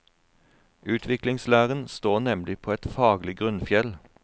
Utviklingslæren står nemlig på et faglig grunnfjell.